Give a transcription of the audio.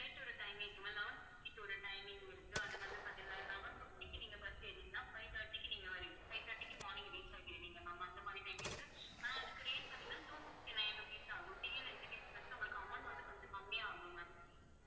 eleven fifty க்கு ஒரு timing இருக்கு அது வந்து பாத்தீங்கன்னா, eleven fifty க்கு நீங்க bus ஏறுனீங்கன்னா five thirty க்கு நீங்க வரிங்~ five thirty க்கு morning reach ஆயிடுவீங்க ma'am அந்த மாதிரி time இருக்கு. ஆனா அதுக்கு rate பாத்தீங்கன்னா two fifty-nine rupees தான் ஆகும் TNSTC bus ல உங்களுக்கு amount வந்து கொஞ்சம் கம்மியாகும் ma'am